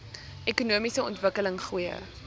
ekonomiese ontwikkeling goeie